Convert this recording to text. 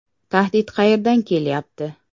“Tahdid qayerdan kelyapti?